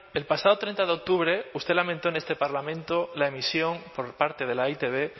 el pasado treinta de octubre usted lamentó en este parlamento la emisión por parte de la e i te be